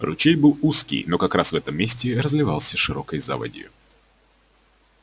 ручей был узкий но как раз в этом месте разливался широкой заводью